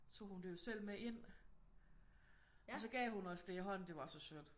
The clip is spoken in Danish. Tog hun det jo selv med ind og så gav hun os det i hånden. Det var så sødt